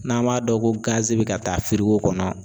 N'an b'a dɔn ko bɛ ka taa kɔnɔ.